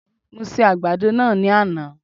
Mo se àgbàdo náà ní àná